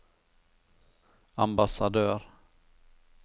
ambassadør